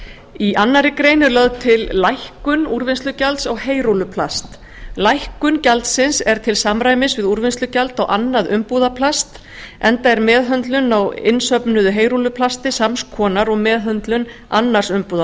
í annarri grein er lögð til lækkun úrvinnslugjalds á heyrúlluplast lækkun gjaldsins er til samræmis við úrvinnslugjald á annað umbúðaplast enda er meðhöndlun á innsöfnuðu heyrúlluplasti sams konar og meðhöndlun annars